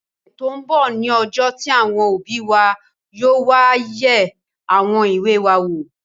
Ọ̀sẹ̀ tó n bọ̀ ní ọjọ́ tí àwọn òbí wa yóò wá yẹ àwọn ìwé wa wò